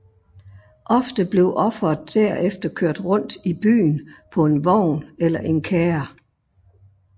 Ofte blev offeret derefter kørt rundt i byen på en vogn eller kærre